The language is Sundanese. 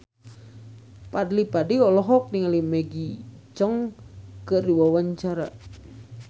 Fadly Padi olohok ningali Maggie Cheung keur diwawancara